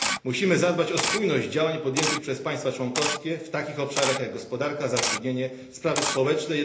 Musimy zadbać o spójność działań podjętych przez państwa członkowskie w takich obszarach jak gospodarka, zatrudnienie, sprawy społeczne.